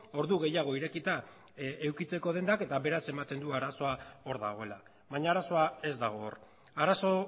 ordu gehiago irekita edukitzeko dendak eta beraz ematen du arazoa hor dagoela baina arazoa ez dago hor arazo